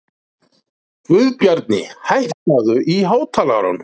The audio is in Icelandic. Guðbjarni, hækkaðu í hátalaranum.